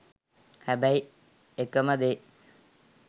හැබැයි එකම දේ